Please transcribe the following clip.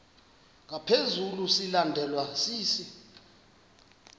ngaphezu silandelwa sisi